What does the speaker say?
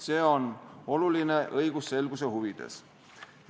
See on oluline õigusselguse huvides.